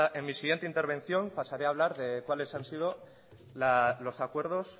en mi siguiente intervención pasaré a hablar de cuáles han sido los acuerdos